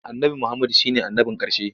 Annabi Muhammadu shi ne annabin ƙarshe.